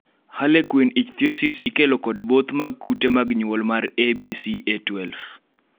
Harlequin ichthyosis ikelo kod both mag kute mag nyuol mar ABCA12